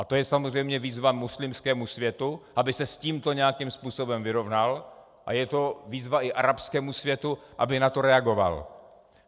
A to je samozřejmě výzva muslimskému světu, aby se s tímto nějakým způsobem vyrovnal, a je to výzva i arabskému světu, aby na to reagoval.